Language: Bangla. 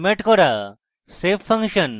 save function